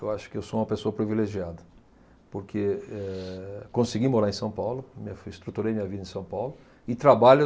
Eu acho que eu sou uma pessoa privilegiada porque, eh, consegui morar em São Paulo, estruturei minha vida em São Paulo e trabalho